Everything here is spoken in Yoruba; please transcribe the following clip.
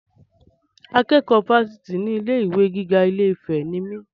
Akẹ́kọ̀ọ́ Fásitì ilé ìwé gíga ilé-ìfẹ́ ni mí.